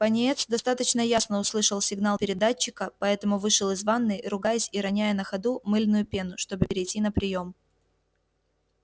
пониетс достаточно ясно услышал сигнал передатчика поэтому вышел из ванной ругаясь и роняя на ходу мыльную пену чтобы перейти на приём